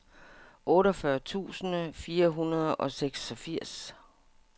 otteogfyrre tusind fire hundrede og seksogfirs